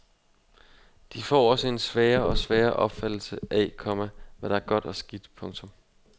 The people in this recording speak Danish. De får også en svagere og svagere opfattelse af, komma hvad der er godt og skidt. punktum